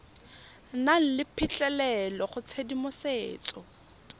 nang le phitlhelelo go tshedimosetso